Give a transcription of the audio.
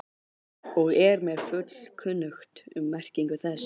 og er mér fullkunnugt um merkingu þess.